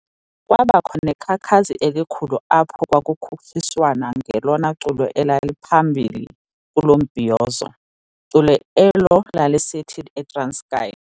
Kwabakho nekhakhakazi elikhulu apho kwakukhutshiswana ngelona culo elaliphambili kulo mbhizoyozo, culo elo lalisithi "ETranskei